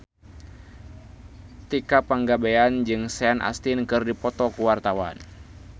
Tika Pangabean jeung Sean Astin keur dipoto ku wartawan